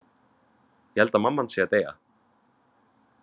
Ég held að mamma hans sé að deyja.